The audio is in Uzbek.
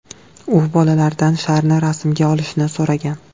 U bolalaridan sharni rasmga olishni so‘ragan.